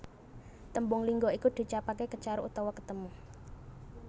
Tembung lingga iku diucapake Kecaruk utawa ketemu